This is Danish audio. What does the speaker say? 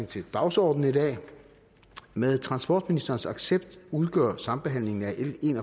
til dagsordenen i dag med transportministerens accept udgår sambehandlingen af l en